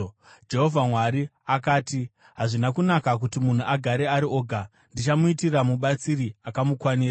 Jehovha Mwari akati, “Hazvina kunaka kuti munhu agare ari oga. Ndichamuitira mubatsiri akamukwanira.”